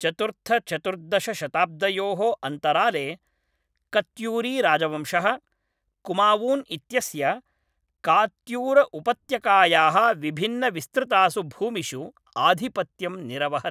चतुर्थचतुर्दशशताब्दयोः अन्तराले कत्यूरीराजवंशः कुमावून् इत्यस्य कात्यूरउपत्यकायाः विभिन्नविस्तृतासु भूमिषु आधिपत्यं निरवहत्।